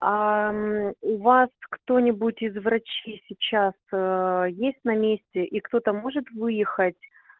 у вас кто-нибудь из врачей сейчас есть на месте и кто-то может выехать